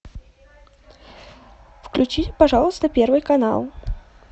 включи пожалуйста первый канал